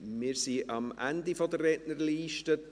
Wir sind am Ende der Rednerliste angelangt.